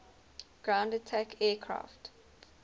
ground attack aircraft